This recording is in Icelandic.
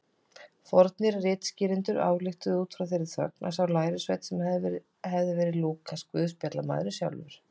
Fornir ritskýrendur ályktuðu út frá þeirri þögn að sá lærisveinn hefði verið Lúkas guðspjallamaður sjálfur.